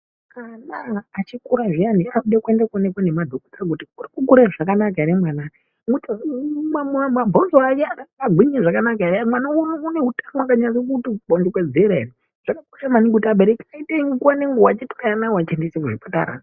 Kana mwana achikura zviya anode kuenda kune madhokodheya kuti urikukura zvakanaka ere, mabhonzo ake agwinye zvakanaka ere mwana une utano wakanyase kuti kukodzera ere zvakakosha maningi kuti abereki aite nguwa nenguwa kutore mwanawo achiendese kuzvipatara.